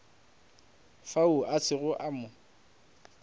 fao a sego a mo